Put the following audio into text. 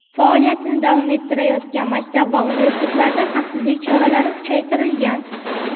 faoliyatini davom ettirayotgan maktab va universitetlarda xavfsizlik choralari kuchaytirilgan.